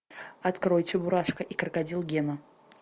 открой чебурашка и крокодил гена